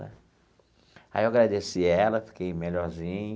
Aí eu agradeci ela, fiquei melhorzinho.